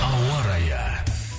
ауа райы